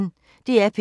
DR P1